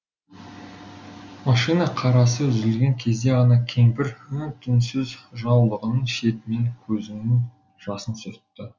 машина қарасы үзілген кезде ғана кемпір үн түнсіз жаулығының шетімен көзінің жасын сүртті